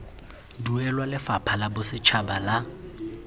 duelwa lefapha la bosetšhaba la